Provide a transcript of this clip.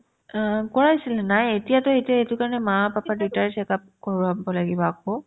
অ, কৰাইছো নাইয়ে এতিয়াতো সেইটো এইটো কাৰণে মা papa দুয়োতাৰে check up কৰাব লাগিব আকৌ